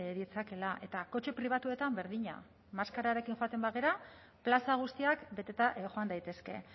ditzakela eta kotxe pribatuetan berdina maskararekin joaten bagara plaza guztiak beteta joan daitezke